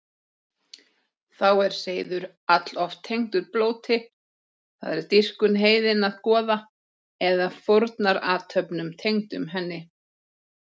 Þá er seiður alloft tengdur blóti, það er dýrkun heiðinna goða, eða fórnarathöfnum tengdum henni.